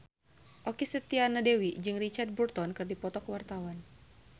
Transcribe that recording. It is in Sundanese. Okky Setiana Dewi jeung Richard Burton keur dipoto ku wartawan